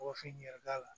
Wa fini yɛrɛ d'a la